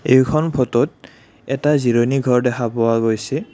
এইখন ফটোত এটা জিৰণি ঘৰ দেখা পোৱা গৈছে।